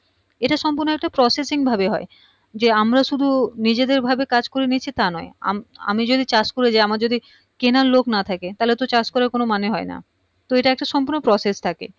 এটা সম্পূর্ণ একটা processing ভাবে হয় যে আমরা শুধু নিজেদের ভাবে কাজ করে নিচ্ছি তা নয় আআমি যদি চাষ করে যায় আমার যদি কেনার লোক না থাকে তাহলে তো চাষ করার কোনো মানে হয় না তো এটার একটা সম্পূর্ণ process থাকে